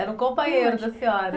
Era um companheiro da senhora?